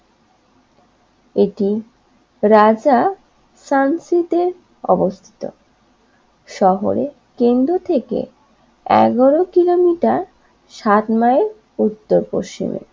এটি রাজা সানসিটে অবস্থিত শহরে কেন্দ্র থেকে এগারো কিলোমিটার সাত মাইল উত্তর পশ্চিমে